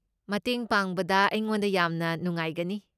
ꯃꯇꯦꯡ ꯄꯥꯡꯕꯗ ꯑꯩꯉꯣꯟꯗ ꯌꯥꯝꯅ ꯅꯨꯡꯉꯥꯏꯒꯅꯤ꯫